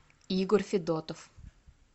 егор федотов